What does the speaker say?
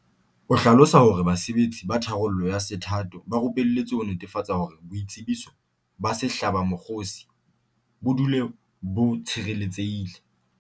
O hlalosa hore basebetsi ba tharollo ya sethatho ba rupeletswe ho netefatsa hore boitsebiso ba sehlabamokgosi bo dule bo tshireletsehile.